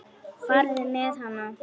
Farðu með hana.